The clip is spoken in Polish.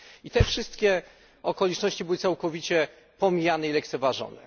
I te wszystkie okoliczności były całkowicie pomijane i lekceważone.